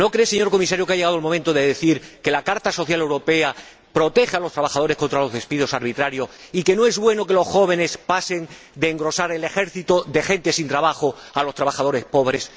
¿No cree, señor Comisario, que ha llegado el momento de decir que la Carta Social Europea protege a los trabajadores contra los despidos arbitrarios, y que no es bueno que los jóvenes pasen de engrosar el ejército de gente sin trabajo al de los trabajadores pobres?